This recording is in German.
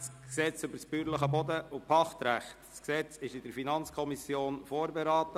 Das Gesetz wurde von der FiKo vorberaten.